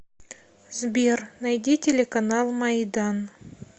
сбер найди телеканал майдан